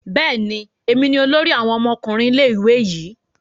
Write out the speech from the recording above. Bẹẹni, èmi ní olórí awon ọmọkùnrin ilé-ìwé yi